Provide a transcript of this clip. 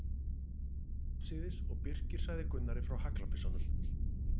Þeir fóru afsíðis og Birkir sagði Gunnari frá haglabyssunum.